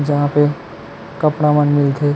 जहाँ पे कपड़ा मन मिल थे।